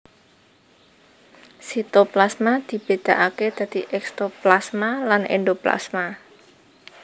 Sitoplasma dibédakaké dadi ékstoplasma lan éndoplasma